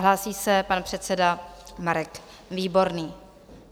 Hlásí se pan předseda Marek Výborný.